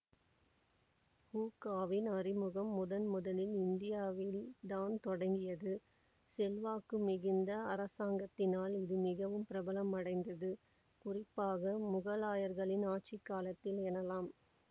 ஹூக்காவின் அறிமுகம் முதன்முதலில் இந்தியாவில் தான் தொடங்கியது செல்வாக்கு மிகுந்த அரசாங்கத்தினால் இது மிகவும் பிரபலமடைந்தது குறிப்பாக மொகலாயர்களின் ஆட்சி காலத்தில் எனலாம்